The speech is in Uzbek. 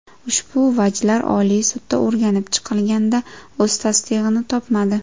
Ushbu vajlar Oliy sudda o‘rganib chiqilganda, o‘z tasdig‘ini topmadi.